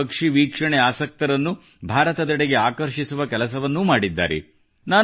ವಿಶ್ವದ ಪಕ್ಷಿವೀಕ್ಷಣೆ ಆಸಕ್ತರನ್ನು ಭಾರತದೆಡೆಗೆ ಆಕರ್ಷಿಸುವ ಕೆಲಸವನ್ನೂ ಮಾಡಿದ್ದಾರೆ